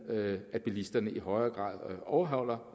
at bilisterne i højere grad overholder